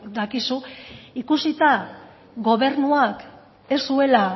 dakizu ikusita gobernuak ez zuela